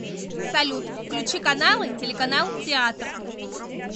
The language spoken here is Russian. салют включи каналы телеканал театр